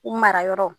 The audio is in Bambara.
U mara yɔrɔ